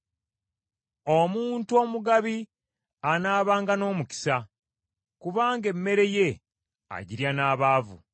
Omuntu omugabi anaabanga n’omukisa, kubanga emmere ye agirya n’abaavu.